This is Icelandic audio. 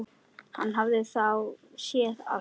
Hann hafði þá séð allt!